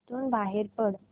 इथून बाहेर पड